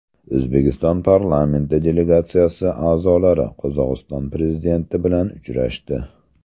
O‘zbekiston parlamenti delegatsiyasi a’zolari Qozog‘iston prezidenti bilan uchrashdi.